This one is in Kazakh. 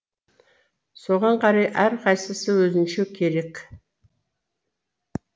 соған қарай әрқайсысы өзінше керек